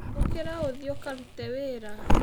Ũkĩra ũthiĩ ũkarute wĩra.